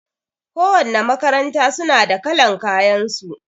Ko wanna makaranta suna da kalan kayan su